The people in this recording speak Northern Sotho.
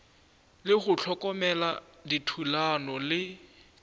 le go hlokomela dithulano le